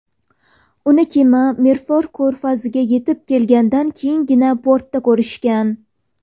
Uni kema Milford ko‘rfaziga yetib kelgandan keyingina portda ko‘rishgan.